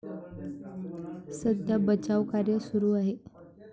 सध्या बचावकार्य सुरू आहे.